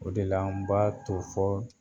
O de la anw b'a to fɔɔ